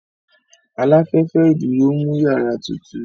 Aláfẹ́fẹ́ ìdúró ń mú yàrá tutù